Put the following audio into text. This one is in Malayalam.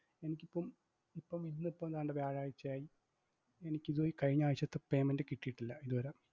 എനിക്കിപ്പം ഇപ്പം ഇന്നിപ്പും ദാണ്ടെ വ്യാഴാഴ്ചയായി എനിക്ക് ഇതുവര കഴിഞ്ഞായ്ഴ്ചത്തെ payment കിട്ടീട്ടില്ല ഇതുവര